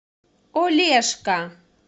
олежка